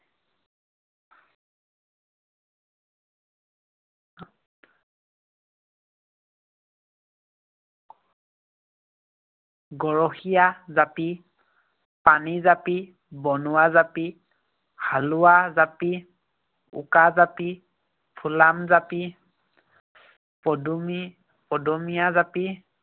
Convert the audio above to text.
গৰখীয়া জাপি, পানী জাপি, বনুৱা জাপি, হালোৱা জাপি, উকা জাপি, ফুলাম জাপি, পদুমী, পদুমীয়া জাপি